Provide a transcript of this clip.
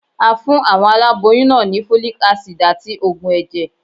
A fún àwọn aláboyún náà ni Folic Acid àti Ògùn ẹ̀jẹ̀.